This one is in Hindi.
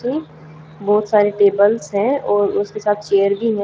जी बहुत सारी टेबल्स हैं और उसके साथ चेयर भी हैं।